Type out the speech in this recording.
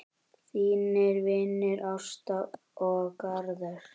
Þínir vinir Ásta og Garðar.